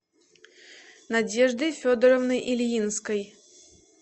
надеждой федоровной ильинской